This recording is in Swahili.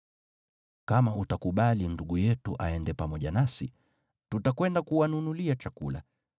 Kama utakubali ndugu yetu aende pamoja nasi, tutakwenda kuwanunulia chakula.